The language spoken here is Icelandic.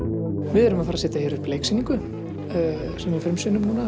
við erum að fara að setja hér upp leiksýningu sem við